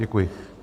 Děkuji.